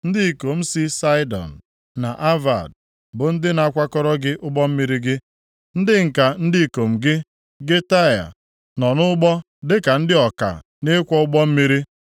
Ndị ikom si Saịdọn na Avad bụ ndị na-akwọrọ gị ụgbọ mmiri gị. Ndị ǹka ndị ikom gị, gị Taịa, nọ nʼụgbọ dịka ndị ọka nʼịkwọ ụgbọ mmiri.